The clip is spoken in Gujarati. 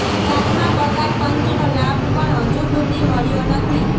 સાતમા પગાર પંચનો લાભ પણ હજુ સુધી મળ્યો નથી